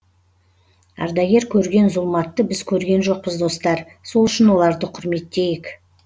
ардагер көрген зұлматты біз көрген жоқпыз достар сол үшін оларды құрметтейік